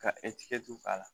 Ka k'a la